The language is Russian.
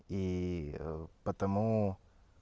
и потому